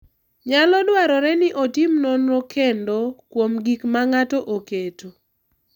Nyalo dwarore ni otim nonro kendo kuom gik ma ng’ato oketo.